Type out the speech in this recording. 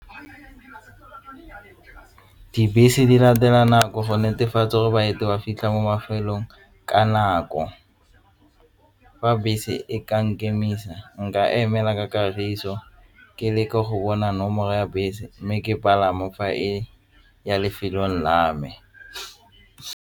Dibese di latela nako go netefatsa gore ba fitlha mo mafelong ka nako fa bese e ka nkemisa nka emela ka kagiso ke leke go bona nomoro ya bese mme ke fa e ya lefelong la me.